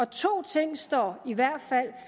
to ting står i hvert fald